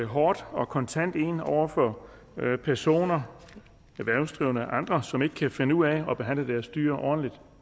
hårdt og kontant ind over for personer erhvervsdrivende eller andre som ikke kan finde ud af at behandle deres dyr ordentligt